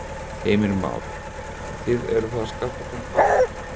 Heimir Már: Og þið eruð þá að skaffa þeim hvað?